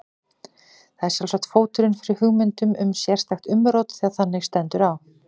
Það er sjálfsagt fóturinn fyrir hugmyndum um sérstakt umrót þegar þannig stendur á.